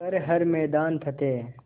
कर हर मैदान फ़तेह